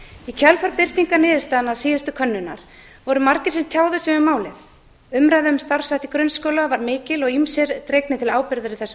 í kjölfar birtingar niðurstaðna síðustu könnunar voru margir sem tjáðu sig um málið umræða um starfshætti grunnskóla var mikil og ýmsir dregnir til ábyrgðar í þessum